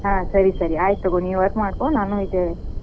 ಹಾ ಸರಿ ಸರಿ ಆಯಿತಗೋ ನೀ work ಮಾಡ್ಕೋ ನಾನು ಇದ್ ಆಮೇಲೆ,